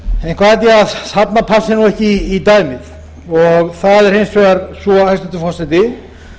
eitthvað held ég að passi ekki í dæmið það er hins vegar svo hæstvirtur forseti